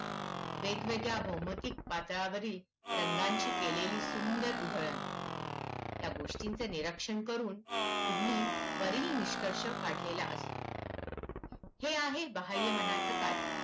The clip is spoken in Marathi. वेगवेगळ्या भौमितिक पात्रावरील रंगांची केलेली सुंदर उधळण. या गोष्टींचे निरीक्षण करून तुम्ही वरील निष्कर्ष काढलेला असतो. हे आहे बाह्यमनाचं कार्य